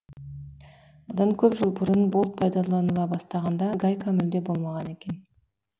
бұдан көп жыл бұрын болт пайдаланыла бастағанда гайка мүлде болмаған екен